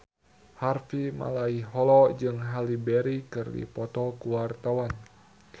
Harvey Malaiholo jeung Halle Berry keur dipoto ku wartawan